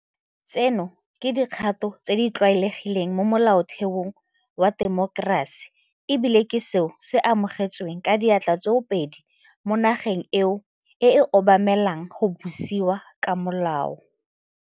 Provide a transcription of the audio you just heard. Tseno ke dikgato tse di tlwaelegileng mo molaotheong wa temokerasi e bile ke seo se amogetsweng ka diatla tsoopedi mo nageng eo e obamelang go busiwa ka molao.